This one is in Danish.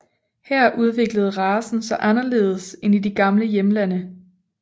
Her udviklede racen sig anderledes end i de gamle hjemlande